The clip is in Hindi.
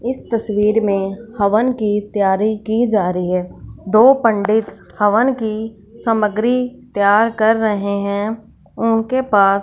इस तस्वीर में हवन की तैयारी की जा रही है दो पंडित हवन की सामग्री तैयार कर रहे हैं उनके पास--